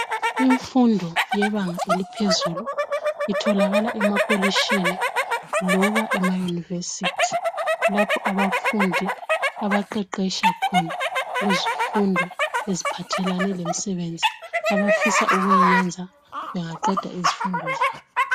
Imfundo yebanga eliphezulu, itholakala emakolitshini loba emayunivesithi lapho abafundi abaqeqetsha khona ngezifundo eziphathelane lemsebenzi abafisa ukuyiyenza bengaqeda izifundo zabo.